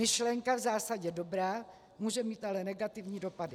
Myšlenka v zásadě dobrá, může mít ale negativní dopady.